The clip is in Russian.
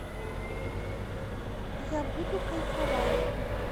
я буду кайфовать